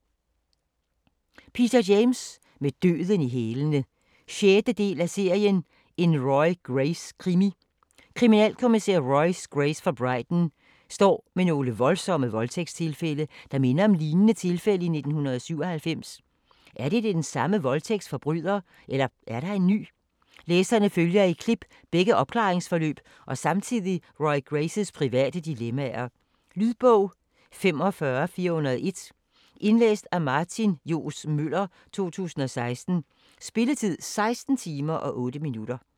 James, Peter: Med døden i hælene 6. del af serien En Roy Grace krimi. Kriminalkommissær Roy Grace fra Brighton står med nogle voldsomme voldtægtstilfælde, der minder om lignende tilfælde i 1997. Er det den samme voldtægtsforbryder, eller er der en ny? Læserne følger i klip begge opklaringsforløb og samtidig Roy Graces private dilemmaer. Lydbog 45401 Indlæst af Martin Johs. Møller, 2016. Spilletid: 16 timer, 8 minutter.